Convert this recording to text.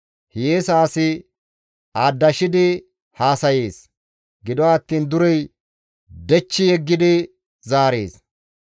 Hiyeesa asi aadashidi haasayees; gido attiin durey dhechchi zaarees.